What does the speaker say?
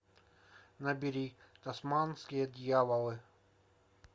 набери тасманские дьяволы